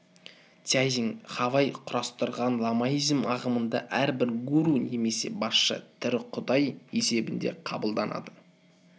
цзян хавай құрастырған ламаизм ағымында әрбір гуру немесе басшы тірі құдай есебінде қабылданады